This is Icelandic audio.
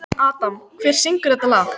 Friðveig, lækkaðu í hátalaranum.